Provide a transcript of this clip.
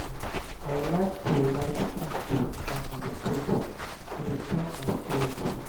i like to light candle and meditate; e dey calm my spirit.